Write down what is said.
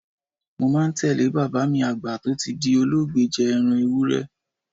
Mo máa ń tẹ̀ lé bàbá mi Àgbẹ̀ tó ti di olóògbé jẹ ẹran Ewúré.